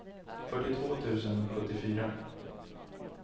fyrtiotvå tusen sjuttiofyra